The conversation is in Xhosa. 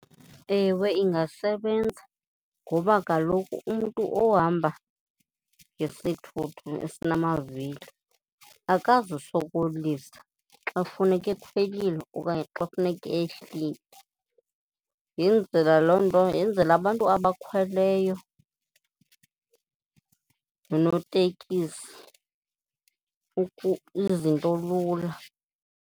Ewe, ingasebenza ngoba kaloku umntu ohamba ngesithuthi esinamavili akazusokolisa xa kufuneke ekhwelile okanye xa kufuneke ehlile. Yenzela loo nto, yenzela abantu abakhweleyo noonotekisi izinto lula.